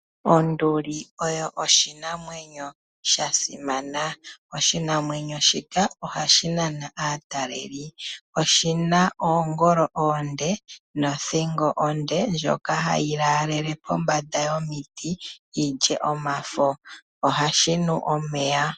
Onduli oyo oshinamwenyo sha simana, oshinamwenyo shika ohashi nana aataleli. Oshina oongolo oonde nothingo onde ndjoka hayi laalele pombanda yomiti yilye omafo. Ohashi nu omeya.